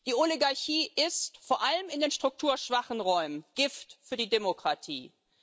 Die Oligarchie ist vor allem in den strukturschwachen Räumen Gift für die Demokratie.